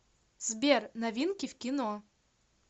сбер новинки в кино